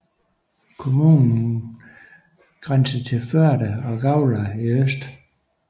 Kommunen grænser til Førde og Gaular i øst